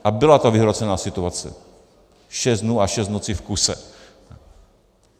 A byla to vyhrocená situace, šest dnů a šest nocí v kuse.